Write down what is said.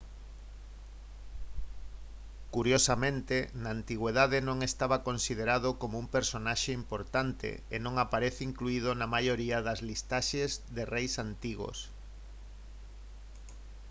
curiosamente na antigüidade non estaba considerado como un personaxe importante e non aparece incluído na maioría das listaxes de reis antigos